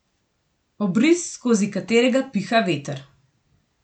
Obris, skozi katerega piha veter.